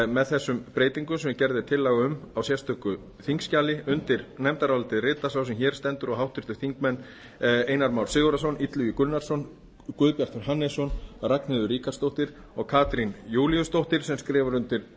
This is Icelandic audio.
með þessum breytingum sem gerð er tillaga um á sérstöku þingskjali undir nefndarálitið rita sá sem hér stendur og háttvirtur þingmaður einar már sigurðarson illugi gunnarsson guðbjartur hannesson ragnheiður ríkharðsdóttir og katrín júlíusdóttir sem skrifar undir